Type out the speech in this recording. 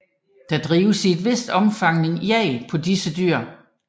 Der drives i et vist omfang jagt på disse dyr